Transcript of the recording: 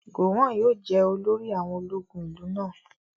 Gowon yóò jẹ́ olórí àwọn ológun ìlú náà